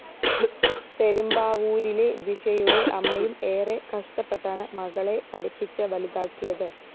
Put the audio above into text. പെരുമ്പാവൂരിലെ ജിഷയുടെ അമ്മയും എറെ കഷ്ടപ്പെട്ടാണ് മകളെ പഠിപ്പിച്ച് വലുതാക്കിയത്